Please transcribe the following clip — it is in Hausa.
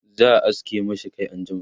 za'a aske mashi Kai anjima